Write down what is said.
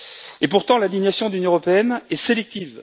Et pourtant l'indignation de l'Union européenne est sélective.